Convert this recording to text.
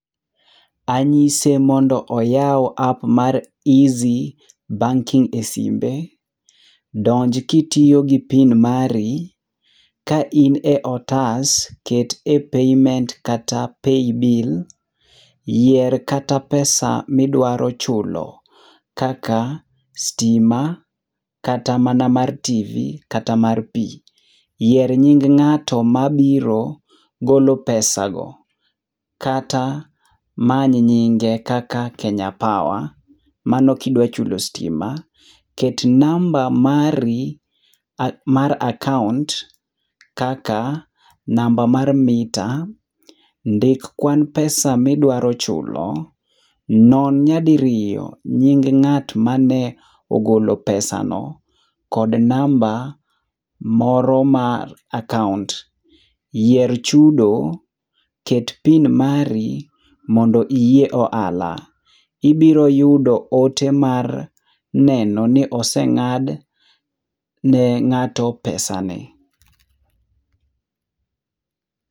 Anyise mondo oyaw app mar Eazzy banking e simbe. Donj kitiyo gi PIN mari, kain e otas ket e payment kata e paybill. Yier kata pesa midwaro chulo kaka stima, kata mana mar TV kata mar pi. Yier nying ng'ato mabiro golo pesa go, kata many nying kaka Kenya Power, mano kidwachulo stima. Ket namba mari mar akaont kaka namba mar mita. Ndik kwan pesa midwaro chulo, non nyadiriyo nying ng'at mane ogolo pesa no kod namba mor mar akaont. Yier chudo, ket PIN mari mondo iyie ohala. Ibiro yudo ote mar neno ni oseng'ad ne ng'ato pesa ne.